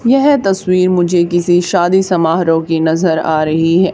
यह तस्वीर मुझे किसी शादी समारोह की नजर आ रही है।